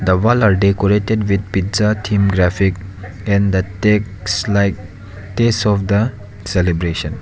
the wall are decorated with pizza theme graphic and the takes like taste of the celebration.